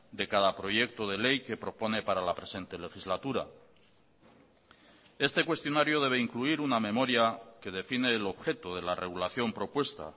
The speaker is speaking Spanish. de cada proyecto de ley que propone para la presente legislatura este cuestionario debe incluir una memoria que define el objeto de la regulación propuesta